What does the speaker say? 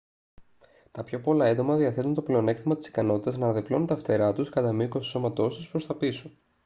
τα πιο πολλά έντομα διαθέτουν το πλεονέκτημα της ικανότητας να αναδιπλώνουν τα φτερά τους κατά μήκος του σώματός τους προς τα πίσω